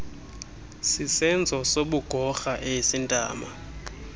sisenzo sobugorha esintama